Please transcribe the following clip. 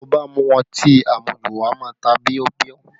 Tí o bá mu ọtí amuju, wà á má a ta bíọ́bíọ́